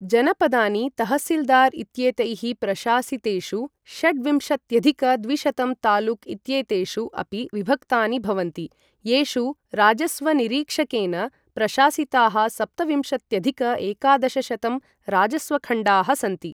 जनपदानि, तह्सील्दार् इत्येतैः प्रशासितेषु षड्विंशत्यधिक द्विशतं तालुक् इत्येतेषु अपि विभक्तानि भवन्ति, येषु राजस्वनिरीक्षकेन प्रशासिताः सप्तविंशत्यधिक एकादशशतं राजस्वखण्डाः सन्ति।